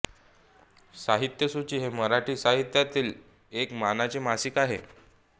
साहित्यसूची हे मराठी साहित्यातील एक मानाचे मासिक आहे